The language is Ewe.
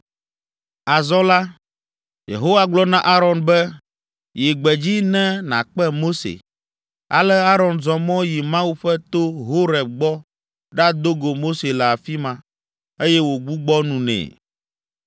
Azɔ la, Yehowa gblɔ na Aron be, “Yi gbedzi ne nàkpe Mose.” Ale Aron zɔ mɔ yi Mawu ƒe to, Horeb gbɔ ɖado go Mose le afi ma, eye wògbugbɔ nu nɛ.